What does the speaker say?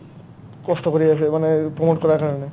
কষ্ট কৰি আছে মানে promote কৰাৰ কাৰণে